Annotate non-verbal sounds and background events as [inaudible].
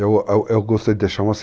Eu, eu gostaria de deixar uma [unintelligible]